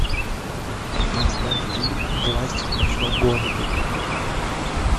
поставь фильм власть в ночном городе